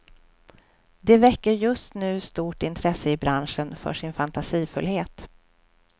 De väcker just nu stort intresse i branschen för sin fantasifullhet.